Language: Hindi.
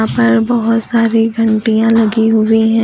ऊपर बहुत सारी घंटियां लगी हुई है।